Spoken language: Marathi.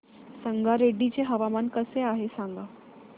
संगारेड्डी चे हवामान कसे आहे सांगा